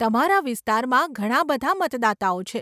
તમારા વિસ્તારમાં ઘણાં બધાં મતદાતાઓ છે.